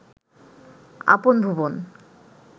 আপন ভুবন